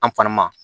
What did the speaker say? An fana ma